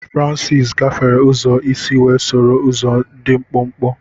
Francis gafere ụzọ isi wee soro ụzọ dị mkpụmkpụ.